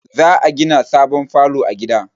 Za a gina sabon falo a gida